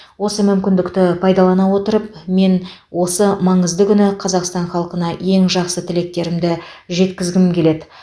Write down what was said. осы мүмкіндікті пайдалана отырып мен осы маңызды күні қазақстан халқына ең жақсы тілектерімді жеткізгім келеді